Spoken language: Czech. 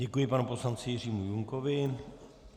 Děkuji panu poslanci Jiřímu Junkovi.